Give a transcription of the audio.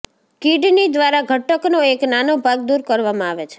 kidney દ્વારા ઘટકનો એક નાનો ભાગ દૂર કરવામાં આવે છે